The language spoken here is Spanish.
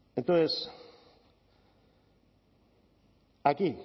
entonces aquí